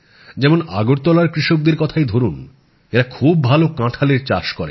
যেমন আগরতলার কৃষকদের কথাই ধরুন এঁরা খুব ভাল কাঁঠালের চাষ করেন